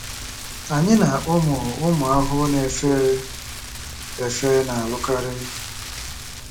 Anyị na ụmụ ụmụ ahụhụ na-efe efe na-alụkarị.